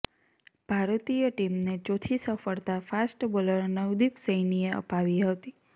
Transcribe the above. ભારતીય ટીમને ચોથી સફળતા ફાસ્ટ બોલર નવદીપ સૈનીએ અપાવી હતી